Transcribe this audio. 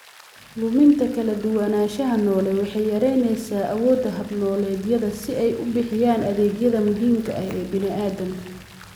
Luminta kala duwanaanshaha noole waxay yaraynaysaa awoodda hab-nololeedyada si ay u bixiyaan adeegyada muhiimka ah ee bini'aadamka.